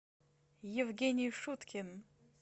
евгений шуткин